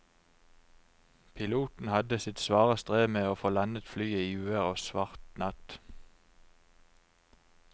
Piloten hadde sitt svare strev med å få landet flyet i uvær og svart natt.